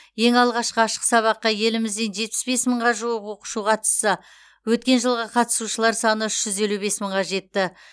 ең алғашқы ашық сабаққа елімізден жетпіс бес мыңға жуық оқушы қатысса өткен жылғы қатысушылар саны үш жүз елу бес мыңға жетті